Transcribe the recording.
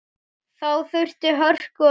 Þá þurfti hörku og seiglu.